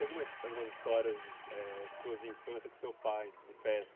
Tem algumas alguimas histórias de eh sua infância com seu pai de pesca?